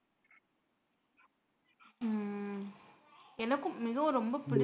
உம் எனக்கும் மிகவும் ரொம்ப பிடிக்கும்